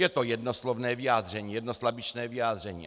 Je to jednoslovné vyjádření, jednoslabičné vyjádření.